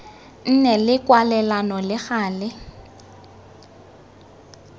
nne le kwalelano le gale